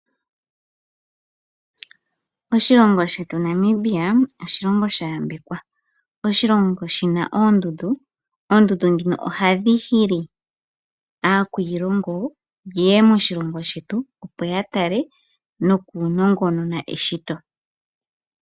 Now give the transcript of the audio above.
Oshilongo shetu Namibia, oshilongo sha yambekwa. Oshilongo shina oondundu, oondundu dhino ohadhi hili aakwiiliongo ye ye moshilongo shetu noya tale nokunongonona eshito.